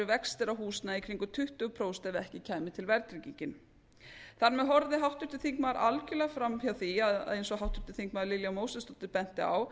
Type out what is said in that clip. vextir af húsnæði í kringum tuttugu prósent ef ekki kæmi til verðtryggingin þar með horfði háttvirtur þingmaður algjörlega fram hjá því að eins og háttvirtir þingmenn lilja mósesdóttir benti á